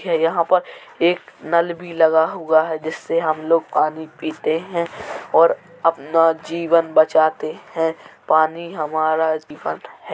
खैर यहाँं पर एक नल भी लगा हुआ है जिससे हम लोग पानी पीते हैं और अपना जीवन बचाते हैं। पानी हमारा जीवन है।